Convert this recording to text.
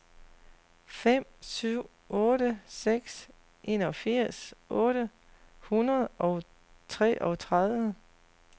fem syv otte seks enogfirs otte hundrede og treogtredive